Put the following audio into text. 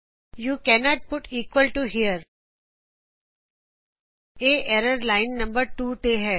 you cannot put here ਇਹ error line number 2 ਤੇ ਹੈ